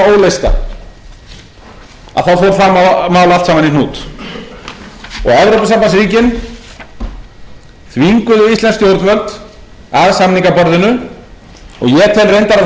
fór það mál allt saman í hnút og evrópusambandsríkin þvinguðu íslensk stjórnvöld að samningaborðinu og ég tel reyndar